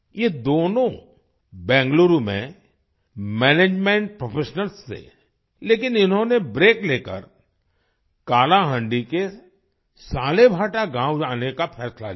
ये दोनों बेंगलुरु में मैनेजमेंट प्रोफेशनल्स थे लेकिन इन्होंने ब्रेक लेकर कालाहांडी के सालेभाटा गाँव आने का फैसला लिया